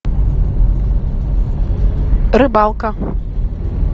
рыбалка